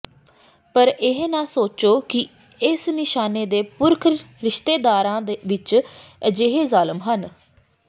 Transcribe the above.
ਪਰ ਇਹ ਨਾ ਸੋਚੋ ਕਿ ਇਸ ਨਿਸ਼ਾਨੇ ਦੇ ਪੁਰਖ ਰਿਸ਼ਤੇਦਾਰਾਂ ਵਿਚ ਅਜਿਹੇ ਜ਼ਾਲਮ ਹਨ